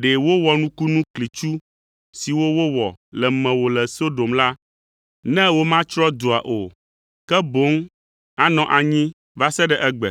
ɖe wowɔ nukunu klitsu siwo wowɔ le mewò le Sodom la, ne womatsrɔ̃ dua o, ke boŋ anɔ anyi va se ɖe egbe.